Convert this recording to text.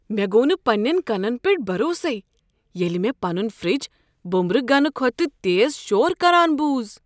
مےٚ گوٚو نہٕ پنٛنٮ۪ن کنن پٮ۪ٹھ بھروسے ییٚلہ مےٚ پنٖن فرج بوٚمبررٕ گنہٕ کھۄتہٕ تیز شور كران بوٗز۔